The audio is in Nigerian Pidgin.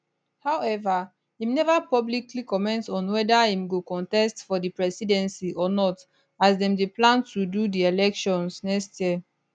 however im neva publicly comment on weda im go contest for di presidency or not as dem dey plan to do di elections next year